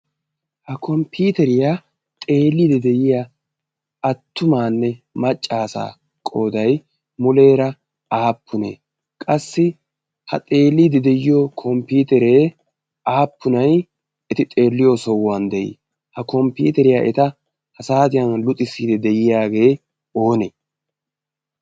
ha komppiteriyaa xeeliidi de'iya attumaanne maccaasaa qoodai muleera aappunee qassi ha xeeliidi de'iyo komppiiteree aappunai eti xeelliyo sohuwan de'ii? ha komppiiteriyaa eta ha saatiyan luxissiidi de'iyaagee oonee?